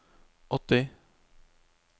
åtti